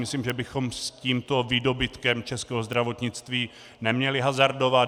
Myslím, že bychom s tímto výdobytkem českého zdravotnictví neměli hazardovat.